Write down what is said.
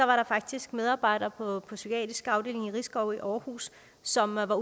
var der faktisk medarbejdere på på psykiatriske afdelinger i risskov i aarhus som var